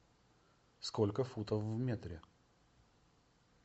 сколько футов в метре